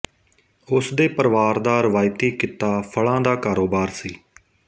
ਉਸਦੇ ਪਰਿਵਾਰ ਦਾ ਰਵਾਇਤੀ ਕਿੱਤਾ ਫਲਾਂ ਦਾ ਕਾਰੋਬਾਰ ਸੀ